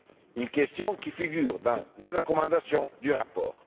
date. Cette question figure dans les recommandations du rapport.